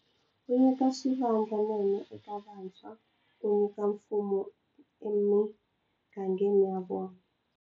Wu nyika swivandla nene eka vantshwa ku nyika mpfuno emigangeni ya vona.